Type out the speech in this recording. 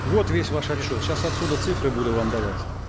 вот весь ваш отчет сейчас отсюда цифры буду вам давать